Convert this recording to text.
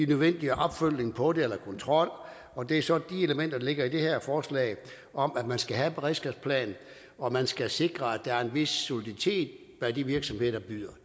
nødvendige opfølgning på det eller kontrol og det er så de elementer der ligger i det her forslag om at man skal have en beredskabsplan og at man skal sikre at der er en vis soliditet bag de virksomheder der byder